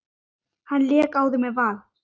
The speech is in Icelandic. Hann lék áður með Val.